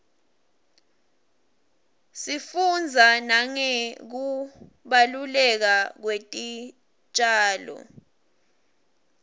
sifundza nangekubaluleka kwetitjalo